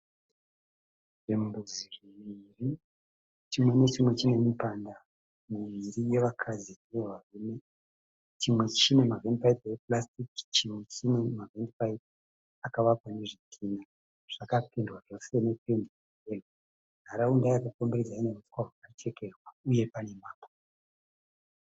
Zvimbuzi zviviri chimwe nechimwe chine mipanda miviri wevakadzi newe varume chimwe chine mavhendi piyipi epurasitiki chimwe chine mavhendi piyipi akavakwa nezvidhinha, zvakapendiwa zvose nependi yeyero, nharaunda yakakomberedzwa nehuswa hwakachekererwa uye pane mabwe.